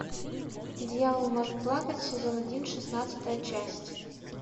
дьявол может плакать сезон один шестнадцатая часть